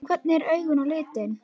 Hvernig eru augun á litinn?